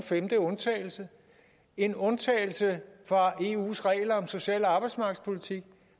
femte undtagelse en undtagelse fra eus regler om social og arbejdsmarkedspolitik